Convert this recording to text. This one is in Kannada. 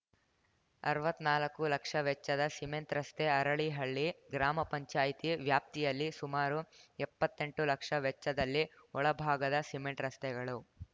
ಅರ್ವಾತ್ತ್ನಾಲಕ್ಕು ಲಕ್ಷ ವೆಚ್ಚದ ಸಿಮೆಂಟ್‌ ರಸ್ತೆ ಅರಳಿಹಳ್ಳಿ ಗ್ರಾಮ ಪಂಚಾಯಿತಿ ವ್ಯಾಪ್ತಿಯಲ್ಲಿ ಸುಮಾರು ಎಪ್ಪತ್ತೆಂಟು ಲಕ್ಷ ವೆಚ್ಚದಲ್ಲಿ ಒಳಭಾಗದ ಸಿಮೆಂಟ್‌ ರಸ್ತೆಗಳು